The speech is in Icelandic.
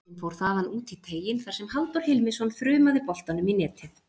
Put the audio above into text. Boltinn fór þaðan út í teiginn þar sem Halldór Hilmisson þrumaði boltanum í netið.